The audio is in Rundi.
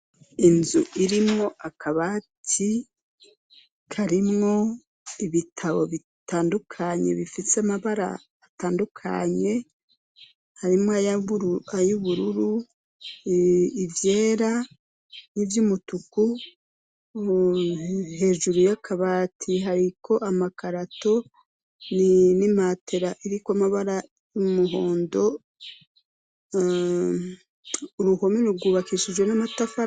Inzu irimwo akabati karimwo ibitabo bitandukanye bifise amabara atandukanye, harimwo ay'ubururu, ivyera, n'ivyumutuku, hejuru y'akabati hariko amakarato n'imatera iriko amabara y'umuhondo, uruhome rwubakishijwe n'amatafari.